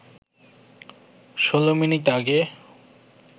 ১৬ minute আগে